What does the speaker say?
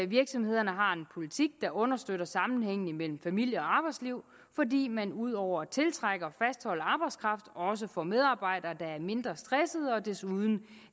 virksomhederne har en politik der understøtter sammenhængen imellem familie og arbejdsliv fordi man ud over at tiltrække og fastholde arbejdskraft også får medarbejdere der er mindre stressede og desuden